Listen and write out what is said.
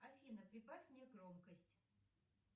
афина прибавь мне громкость